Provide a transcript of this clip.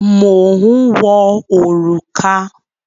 Mò ń wọ òrùka.